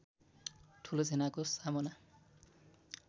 ठूलो सेनाको सामना